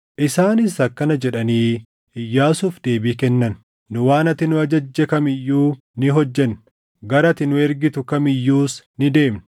Isaanis akkana jedhanii Iyyaasuuf deebii kennan; “Nu waan ati nu ajajje kam iyyuu ni hojjenna; gara ati nu ergitu kam iyyuus ni deemna.